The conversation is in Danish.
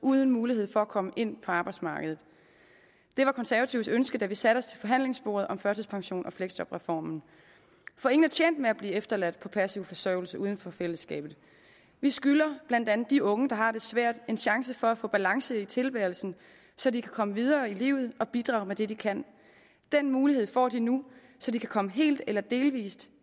uden mulighed for at komme ind på arbejdsmarkedet det var konservatives ønske da vi satte os til forhandlingsbordet om førtidspensions og fleksjobreformen for ingen er tjent med at blive efterladt på passiv forsørgelse uden for fællesskabet vi skylder blandt andet de unge der har det svært en chance for at få balance i tilværelsen så de kan komme videre i livet og bidrage med det de kan den mulighed får de nu så de kan komme helt eller delvis